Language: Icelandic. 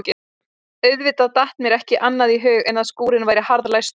Auðvitað datt mér ekki annað í hug en að skúrinn væri harðlæstur.